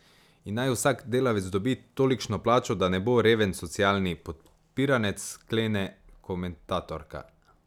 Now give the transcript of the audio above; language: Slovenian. In naj vsak delavec dobi tolikšno plačo, da ne bo reven socialni podpiranec, sklene komentatorka.